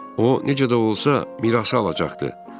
O, necə də olsa, miras alacaqdı.